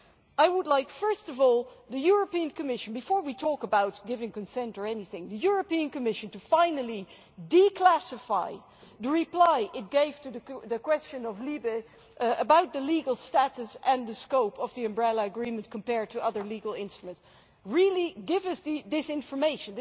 I would like, first of all, for the European Commission, before we talk about giving consent or anything, to finally declassify the reply it gave to the question of LIBE about the legal status and the scope of the umbrella agreement compared with other legal instruments really give us this information.